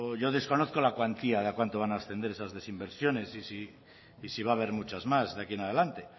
yo desconozco la cuantía de a cuánto van a ascender esas desinversiones y si va haber muchas más de aquí en adelante